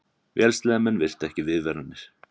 Vélsleðamenn virtu ekki viðvaranir